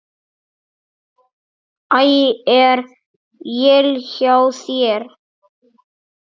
Æ. Er él hjá þér!